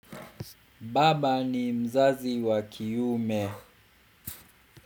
Baba ni mzazi wa kiume.